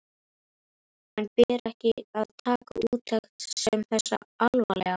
En ber ekki að taka úttekt sem þessa alvarlega?